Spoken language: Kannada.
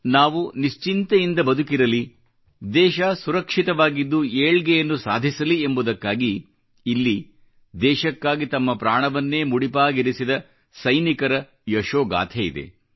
ನಾವು ನಿಶ್ಚಿಂತೆಯಿಂದ ಬದುಕಿರಲಿ ದೇಶ ಸುರಕ್ಷಿತವಾಗಿದ್ದು ಏಳ್ಗೆಯನ್ನು ಸಾಧಿಸಲಿ ಎಂಬುದಕ್ಕಾಗಿ ಇಲ್ಲಿ ದೇಶಕ್ಕಾಗಿ ತಮ್ಮ ಪ್ರಾಣವನ್ನೇ ಮುಡಿಪಾಗಿರಿಸಿದ ಸೈನಿಕರ ಯಶೋಗಾಥೆಯಿದೆ